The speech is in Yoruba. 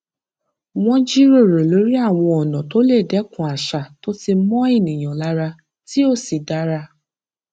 wọn jíròrò lórí àwọn ọnà tó lè dẹkun àṣà tó ti mọ ènìyàn lára tí ó sì dára